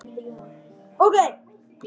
Sjá einnig Varúð.